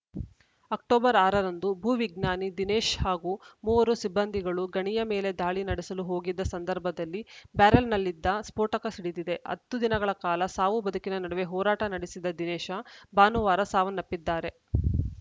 October ಆರ ರಂದು ಭೂವಿಜ್ಞಾನಿ ದಿನೇಶ ಹಾಗೂ ಮೂವರು ಸಿಬ್ಬಂದಿಗಳು ಗಣಿಯ ಮೇಲೆ ದಾಳಿ ನಡೆಸಲು ಹೋಗಿದ್ದ ಸಂದರ್ಭದಲ್ಲಿ ಬ್ಯಾರಲ್‌ನಲ್ಲಿದ್ದ ಸ್ಫೋಟಕ ಸಿಡಿದಿದೆ ಹತ್ತು ದಿನಗಳ ಕಾಲ ಸಾವು ಬದುಕಿನ ನಡುವೆ ಹೋರಾಟ ನಡೆಸಿದ ದಿನೇಶ ಭಾನುವಾರ ಸಾವನ್ನಪ್ಪಿದ್ದಾರೆ